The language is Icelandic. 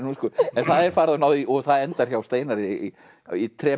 en það er farið og náð í og það endar hjá Steinari í